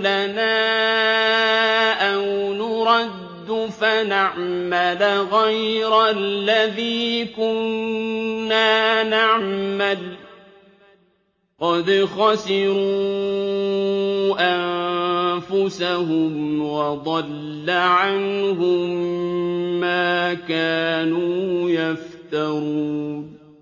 لَنَا أَوْ نُرَدُّ فَنَعْمَلَ غَيْرَ الَّذِي كُنَّا نَعْمَلُ ۚ قَدْ خَسِرُوا أَنفُسَهُمْ وَضَلَّ عَنْهُم مَّا كَانُوا يَفْتَرُونَ